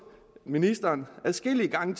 ministeren adskillige gange